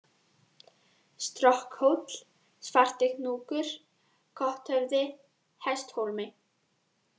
Strokkhóll, Svartihnúkur, Kothöfði, Hesthólmi